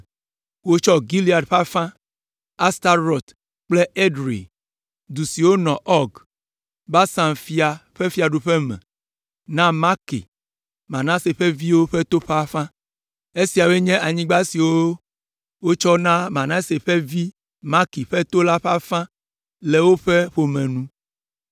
Wotsɔ Gilead ƒe afã, Astarot kple Edrei (du siwo le Ɔg, Basan fia ƒe fiaɖuƒe me), na Makir, Manase ƒe viwo ƒe to la ƒe afã. Esiawoe nye anyigba siwo wotsɔ na Manase ƒe vi Makir ƒe to la ƒe afã le woƒe ƒome nu.